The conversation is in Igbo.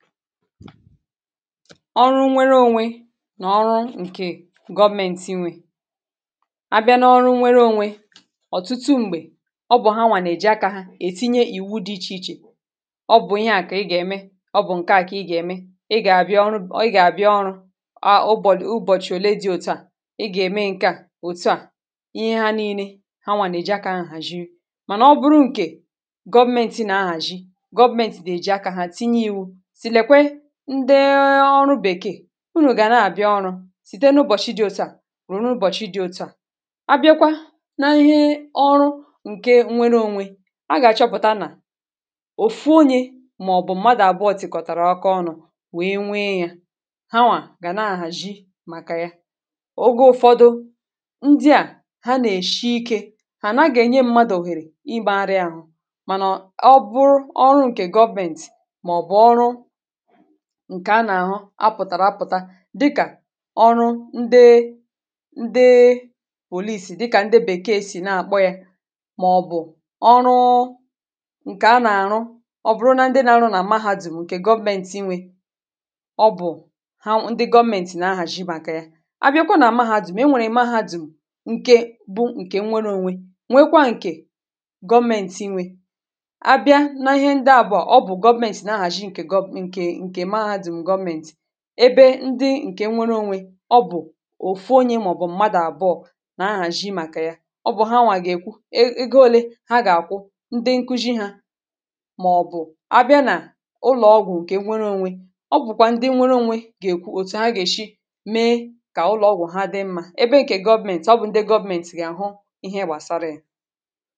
ọrụ nwere onwe nà ọrụ ǹkè government nwe a bịa n’ọrụ nwere onwe ọ̀tụtụ m̀gbè ọ bụ̀ ha nwà nà-èji akȧ ètinye ìwu dị ichè ichè ọ bụ̀ ihe à kà ị gà-ème ọ bụ̀ ǹke à kà ị gà-ème ị gà-àbịa ọrụ ọ ị gà-àbịa ọrụ à ụbọ̀chị̀ ùbochie òle dị òtu à ị gà-ème ǹke à òtu à ihe ha nii̇nė ha nwà nà-èji akȧ hàzhie mànà ọ bụrụ ǹkè government nwe nà-ahàji government dị̇ èji akȧ ha tinye iwė ndị ọrụ bèkeè unù gà nà-àbịa ọrụ sìte n’ụbọ̀chị ịdị̇ oto à rùrù ụbọ̀chị dị oto à abịakwa n’ihe ọrụ ǹke nwere ònwe a gà-àchọpụ̀ta nà òfu onyė màọ̀bụ̀ mmadụ̀ àbụọtị̀kọ̀tàrà ọkà ọnụ̇ wee nwee yȧ hawà gà na-àhàzhie màkà ya ogo ụfọdụ ndị à ha nà-èshi ikė hà na-àgà-ènye mmadụ̀hèrè ịgbȧ arịȧ àhụ mànà ọ bụrụ ọrụ ǹkè gọbentì màọ̀bụ̀ ọrụ ǹkè a nà-àhụ a pụ̀tàrà apụ̀ta dịkà ọrụ ndị ndị òliisi dịkà ndị bèkeė sì na-àkpọ yȧ màọ̀bụ̀ ọrụụ ǹkè a nà-àrụ ọ bụ̀rụ na ndị nȧ-ȧrụ̇ nà mahadum ǹkè government inwe ọ bụ̀ ha ndị government nà-ahàzhi màkà ya a bịakwa nà amahadùm e nwèrè i mahadum ǹke bụ ǹkè nwere ȯnwė nwekwa ǹkè government inwe abịa na ihe ndị à bụ̀ ọbụ̀ government nà ahàzhi ǹkè gọ̀m ǹkè ebe ndị ǹkè nwere ȯnwė ọ bụ̀ òfu onye màọ̀bụ̀ mmadụ̀ àbụọ̇ nà ahàzhị̇ màkà ya ọ bụ̀ ha nwà gà-èkwu ego ȯlė ha gà-àkwụ ndị nkụjị hȧ màọ̀bụ̀ a bịa nà ụlọ̀ ọgwụ̀ ǹkè nwere ȯnwė ọ bụ̀kwà ndị nwere ȯnwė gà-èkwu òtù ha gà-èshi mee kà ụlọ̀ ọgwụ̀ ha dị mmȧ ebe ǹkè government ọ bụ ndị government gà-àhụ ihe gbàsara yȧ